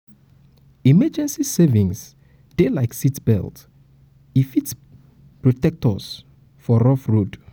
emergency savings dey na like seatbelt e go protect us for rough road.